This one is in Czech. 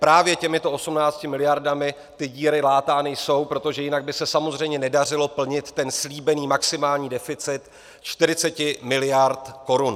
Právě těmito 18 miliardami ty díry látány jsou, protože jinak by se samozřejmě nedařilo plnit ten slíbený maximální deficit 40 miliard korun.